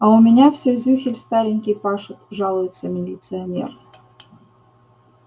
а у меня все зюхель старенький пашет жалуется милиционер